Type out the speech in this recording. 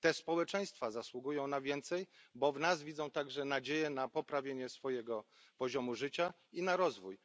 Te społeczeństwa zasługują na więcej, bo widzą w nas także nadzieję na poprawę swojego poziomu życia i na rozwój.